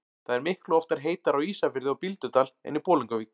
Það er miklu oftar heitara á Ísafirði og Bíldudal en í Bolungarvík.